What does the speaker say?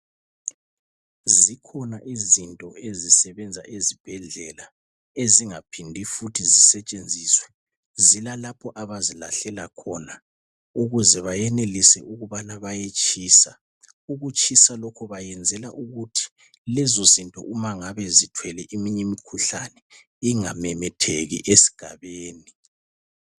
Zikhona izinto ezisebenza ezibhedlela ezingaphindi futhi zisetshenziswe. Zilalapho abazilahlela khona ukuze bayenelise ukubana bayetshisa. Ukutshisa lokhu bayenzela ukuthi lezozinto umangabe zithwele eminye imkhuhlane ingamemetheki esigabeni.